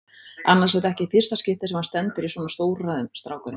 Annars er þetta ekki í fyrsta skipti sem hann stendur í svona stórræðum, strákurinn.